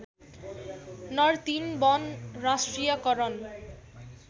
नर्तिन वन राष्ट्रियकरण